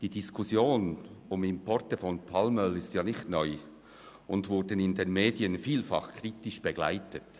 Die Diskussion zu Importen von Palmöl ist nicht neu und wurde von den Medien vielfach kritisch begleitet.